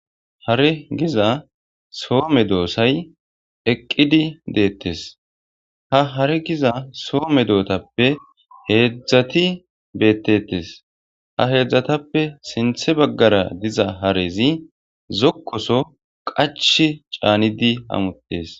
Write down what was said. Hare giza soo medosay eqqidi deetes. Hare giza soo medosatappe heedzati beetetees. Ha heedzatappe sinthe baggara diza harezi zokkoso qachchi caanidi hamutees.